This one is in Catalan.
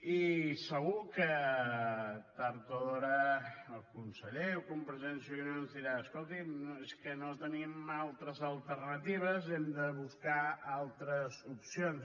i segur que tard o d’hora el conseller o convergència i unió ens dirà escoltin no és que no tenim altres alternatives hem de buscar altres opcions